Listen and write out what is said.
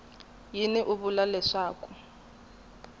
yini u vula leswaku i